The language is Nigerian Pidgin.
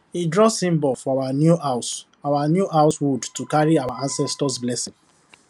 he draw symbol for our new house our new house wood to carry our ancestors blessing